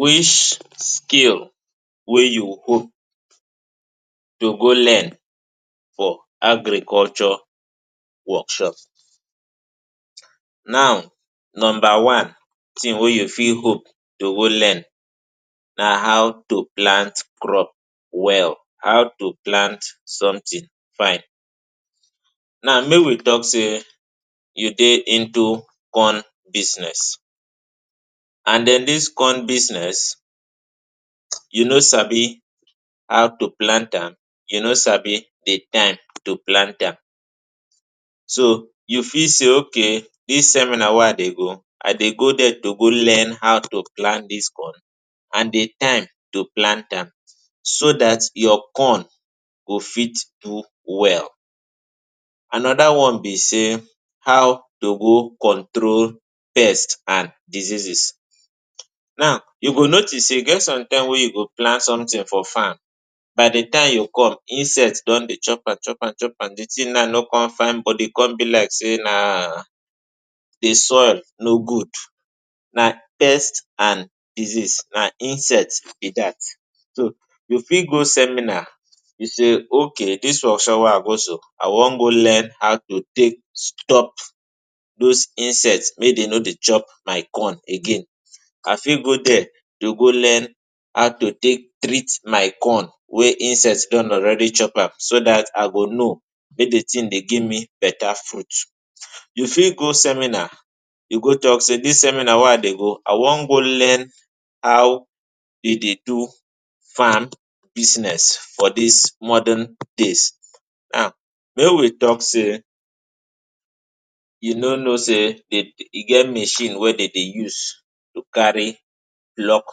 Which skill wey you hope to go learn for agriculture workshop? Now number one tin wey you fit hope to go learn na how to plant crop well, how to plant somtin fine. Now make we tok say you dey into corn business and den dis corn business you no sabi how to plant am, you no sabi di time to plant am, so you feel say okay dis seminar wey I dey go, I dey go there to go learn how to plant dis corn and di time to plant am so dat your corn go fit do well. Anoda one be say how to control pest and diseases. Now you go notice say e get some time wey you go plant somtin for farm, by di time you come, insect don dey chop am chop am chop am, di tin now no come fine, body come be like say na di soil no good. Na pest and diseases, na insect be dat. So you fit go seminar, you say okay dis workshop wey I go so, I wan go learn how to take stop dose insects make dem no dey chop my corn again. I fit go there to go learn how to take treat my corn wey insects don already chop am, so dat e go dey give me betta fruit. You fit go seminar you go tok say dis seminar wey I dey go, I wan go learn how dem dey do farm business for dis modern days. Now, make we tok say you no know say e get machine wey dem dey use to carry block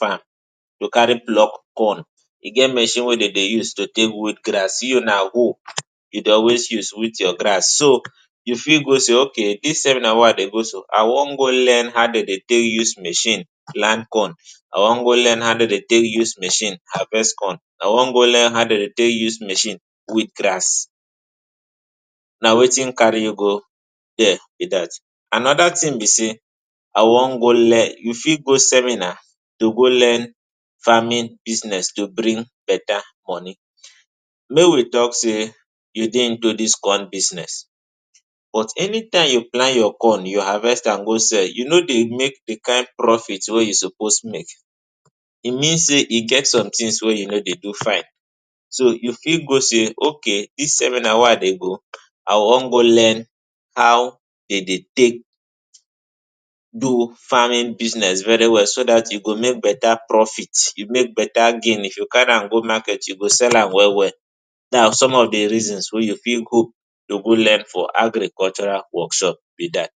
farm, to carry pluck corn. E get machine wey dem dey use to take weed grass, you na hoe you dey always use weed your grass. So you fit go say okay dis seminar wey I dey go so, I wan go learn how dem dey take use machine plant corn. I wan go learn how dem dey take use machine harvest corn. I wan go learn how dem dey take use machine weed grass. Na wetin carry you go there be dat. Anoda tin be say, I wan go learn. You fit go seminar to go learn farming business to bring betta money. Make we tok say you dey into dis corn business, but anytime you plant your corn, you harvest am, go sell, you no dey make di kain profit wey you suppose make. E mean say e get some tins wey you no dey do fine. So you fit go say okay dis seminar wey I dey go, I dey come go learn how dem dey take do farming business very well so dat you go make betta profit, you make betta gain. If you carry am go market, you go sell am well well. Na some of di reasons wey you fit go learn for agricultural workshop be dat.